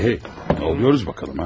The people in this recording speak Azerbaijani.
Hə, nə oluruq baxaq görək ha?